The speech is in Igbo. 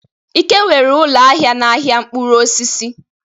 Ike nwere ụlọ ahịa n'ahịa mkpụrụ osisi.